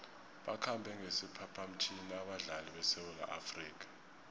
bakhambe ngesiphaphamtjhini abadlali besewula afrika